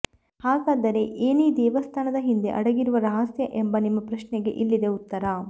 ಹಾಗಾದರೆ ಏನೀ ದೇವಸ್ಥಾನದ ಹಿಂದೆ ಅಡಗಿರುವ ರಹಸ್ಯ ಎಂಬ ನಿಮ್ಮ ಪ್ರಶ್ನೆಗೆ ಇಲ್ಲಿದೆ ಉತ್ತರ